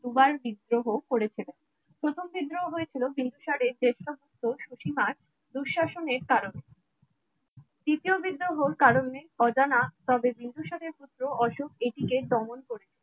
দুবার বিদ্রোহ করেছিলেন প্রথম বিদ্রোহ হয়েছিল বিন্দুসার শ্রেষ্ঠত্ব সু সিমার দুঃশাসনের কারণে তৃতীয় বিদ্রোহ কারণে অজানা তবে বিন্দুসারে পুত্র অশোক এটিকে দমন করেছেন